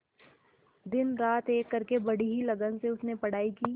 दिनरात एक करके बड़ी ही लगन से उसने पढ़ाई की